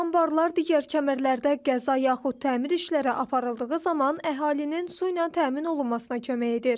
Bu anbarlar digər kəmərlərdə qəza yaxud təmir işləri aparıldığı zaman əhalinin su ilə təmin olunmasına kömək edir.